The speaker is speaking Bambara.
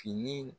Fini